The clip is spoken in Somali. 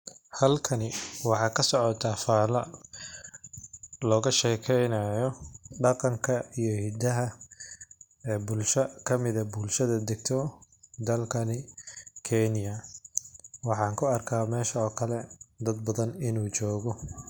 Halkani waxaa kasocota fala loga shekeynaya bulsho dagto dalkani kenya waxan ku arka in u dad jogo.